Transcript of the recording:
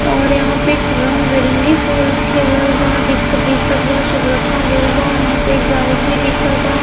और यहाँँ पे एक रंग बिरंगे फूल खिलल बा दिख दिखत बा सब रखा गइल बा। यहाँँ पे एक बाइक भी दिखता।